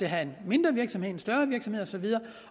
have en mindre virksomhed en større virksomhed og så videre